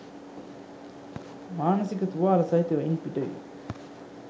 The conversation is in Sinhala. මානසික තුවාල සහිතව ඉන් පිටවී